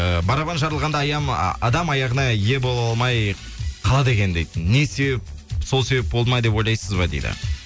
ііі барабан жарылғанда адам аяғына ие бола алмай қалады екен дейді не себеп сол себеп болды ма деп ойлайсыз ба дейді